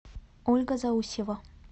ольга заусьева